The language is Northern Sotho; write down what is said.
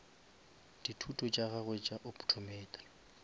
dithuto tša gagwe tša optometry